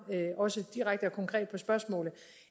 direkte og konkret på spørgsmålet